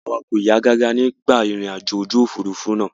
Ara wa kò yá gágá nígbà ìrìnàjò ojú òfurufú náà.